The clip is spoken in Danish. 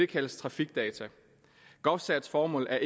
kaldes trafikdata govcert’s formål er